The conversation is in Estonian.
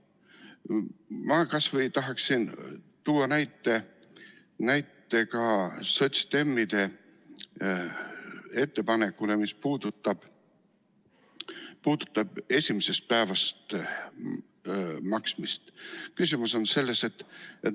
Ma tahaksin tuua näitena sotsiaaldemokraatide ettepaneku, mis puudutab esimesest päevast hüvitamist.